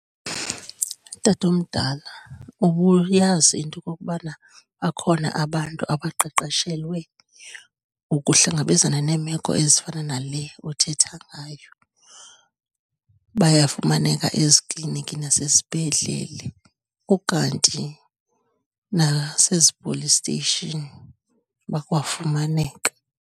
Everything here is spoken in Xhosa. Tatomdala, ubuyazi into okokubana bakhona abantu abaqeqeshelwe ukuhlangabezana neemeko ezifana nale uthetha ngayo? Bayafumaneka ezikliniki nasezibhedlele, ukanti nasezi-police station bakwafumaneka.